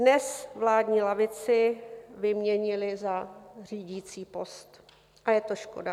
Dnes vládní lavici vyměnily za řídící post a je to škoda.